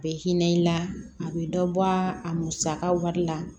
A bɛ hinɛ i la a bɛ dɔ bɔ a musaka wari la